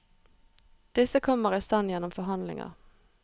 Disse kommer i stand gjennom forhandlinger.